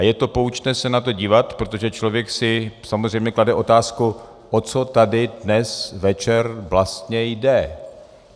A je to poučné se na to dívat, protože člověk si samozřejmě klade otázku, o co tady dnes večer vlastně jde.